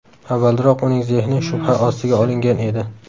Avvalroq uning zehni shubha ostiga olingan edi.